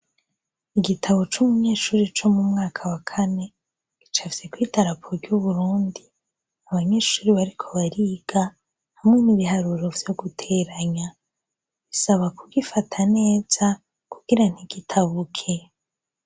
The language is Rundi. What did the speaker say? Igitabo c’umunyeshure co mumwaka wa Kane, gicapfyekw’idarapo ry’Uburundi, abanyeshure bariko bariga ,harimwo ibiharuro vyo guteranya . Bisaba kugifata neza kugira ntigitabuke .